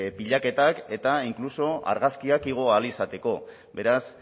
pilaketak eta inkluso argazkiak igo ahal izateko beraz